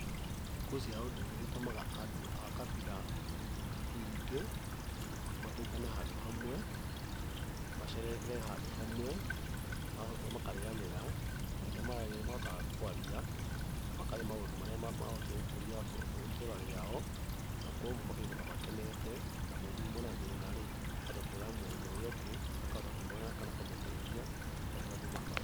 Thigũkũ cia ũndũire nĩ citũmaga andũ a kabira nyingĩ matũngane handũ hamwe, macerekere handũ hamwe arabu makarĩanĩra, na hĩndĩ ĩrĩa mararĩa nĩmahotaga kwaria na makaria maũndũ marĩa maũndũ marĩa mangĩhota gũkũria itũra rĩao, na koguo makainũka makenete na mũndũ uma na thĩna-rĩ, akahota kwĩra mũndũ ũrĩa ũngĩ, akahota kũmwĩra kana akamũteithia.